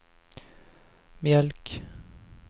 mjölk